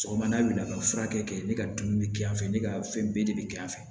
Sɔgɔmada wulila ka furakɛ kɛ ne ka dumuni bɛ kɛ yan fɛ ne ka fɛn bɛɛ de bɛ kɛ yan fɛ